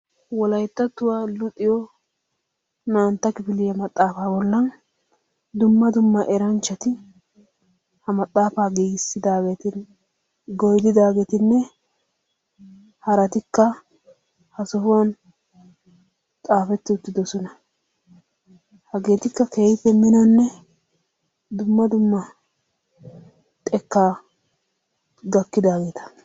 Wolayttattuwa luxiyo naa"antta kifiliya maxaafaa bollan dumma dumma. eranchchati ha maxaafa giigissidaageeti goydidaageeti haratikka ha sohuwan xaafetti utyidosona. Hageetikka keehippe minonnedumma dumma xekkaa gakkidaageeta.